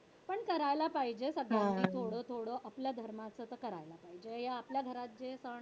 पण करायला पाहिजेच आता थोडं थोडं आपल्या धर्माचं तर करायला पाहिजे. या आपल्या घरात जे सण